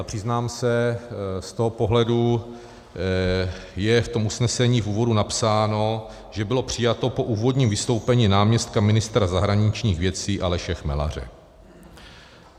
A přiznám se, z toho pohledu je v tom usnesení v úvodu napsáno, že bylo přijato po úvodním vystoupení náměstka ministra zahraničních věcí Aleše Chmelaře.